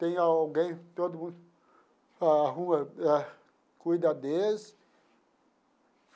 Tem alguém, todo mundo, arruma, ah cuida deles.